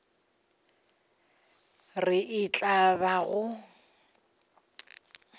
re e tla ba go